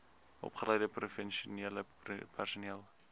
opgeleide professionele personeel